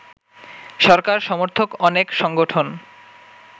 সরকার সমর্থক অনেক সংগঠন